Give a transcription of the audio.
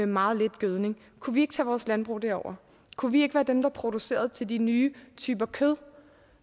meget lidt gødning kunne vi ikke tage vores landbrug derover kunne vi ikke være dem der producerede til de nye typer kød